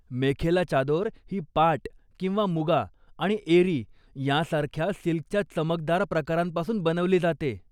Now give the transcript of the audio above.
मेखेला चादोर ही पाट किंवा मुगा आणि एरी यांसारख्या सिल्कच्या चमकदार प्रकारांपासून बनवली जाते.